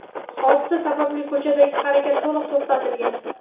Hodisa sababli ko‘chadagi harakat to‘liq to‘xtatilgan.